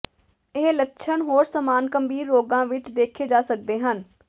ਇਹ ਲੱਛਣ ਹੋਰ ਸਮਾਨ ਗੰਭੀਰ ਰੋਗਾਂ ਵਿੱਚ ਦੇਖੇ ਜਾ ਸਕਦੇ ਹਨ